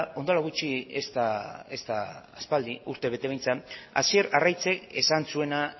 orain dela gutxi ez da aspaldi urtebete behintzat hasier arraizek esan zuena